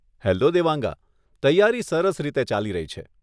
Hello દેવાંગા! તૈયારી સરસ રીતે ચાલી રહી છે.